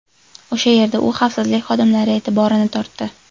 O‘sha yerda u xavfsizlik xodimlari e’tiborini tortdi.